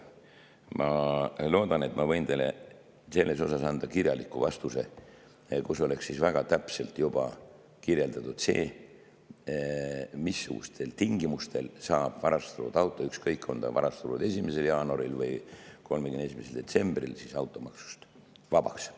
Ma loodan, et ma võin teile selle kohta anda kirjaliku vastuse, kus oleks juba väga täpselt kirjeldatud, missugustel tingimustel saab varastatud auto, ükskõik kas ta on varastatud 1. jaanuaril või 31. detsembril, automaksust vabaks.